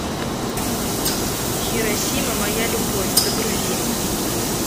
хиросима моя любовь загрузи